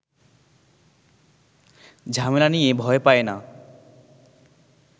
ঝামেলা নিয়ে ভয় পায় না